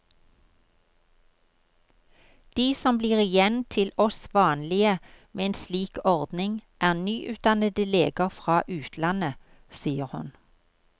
De som blir igjen til oss vanlige med en slik ordning, er nyutdannede leger fra utlandet, sier hun.